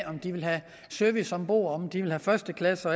om de vil have service ombord om de vil have første klasse